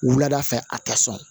Wulada fɛ a tɛ sɔn